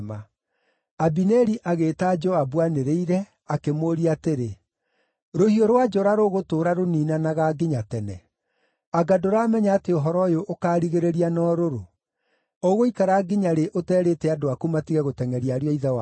Abineri agĩĩta Joabu aanĩrĩire, akĩmũũria atĩrĩ, “Rũhiũ rwa njora rũgũtũũra rũniinanaga nginya tene? Anga ndũramenya atĩ ũhoro ũyũ ũkaarigĩrĩria na ũrũrũ? Ũgũikara nginya rĩ ũterĩte andũ aku matige gũtengʼeria ariũ a ithe wao?”